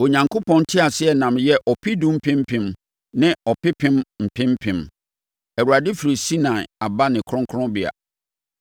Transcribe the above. Onyankopɔn nteaseɛnam yɛ ɔpedu mpem mpem ne ɔpepem mpem mpem; Awurade firi Sinai aba ne kronkronbea.